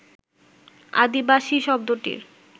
আদিবাসী শব্দটির